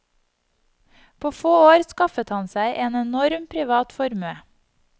På få år skaffet han seg en enorm privat formue.